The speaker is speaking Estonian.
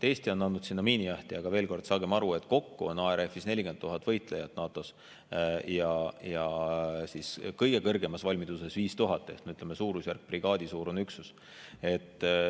Eesti on andnud sinna miinijahtija, aga veel kord, saagem aru, et kokku on ARF-is 40 000 võitlejat NATO-s ja kõige kõrgemas valmiduses 5000 ehk, ütleme, brigaadisuurune üksus.